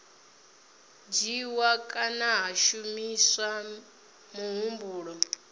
dzhiiwa kana ha shumiswa muhumbulo